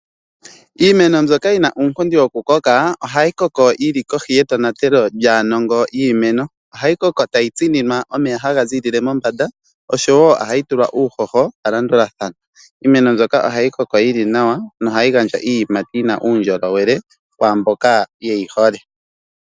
Iimeno mbyoka yina uunkundi wokukoka ohai koko yili kohi yetonatelo lyaanongo yiimeno. Ohai koko tai tsininwa omeya taga ziilile pombanda nohayi pewa uuhoho shili palandulathano. Iimeno mbyoka ohai koko yili nawa nohai imi iiyimati tai gandja uundjolowele kwaamboka yei hole.